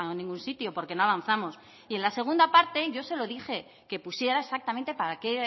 ningún sitio porque no avanzamos en la segunda parte yo se lo dije que pusiera exactamente para qué